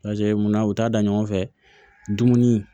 Lajɛ mun na u t'a da ɲɔgɔn fɛ dumuni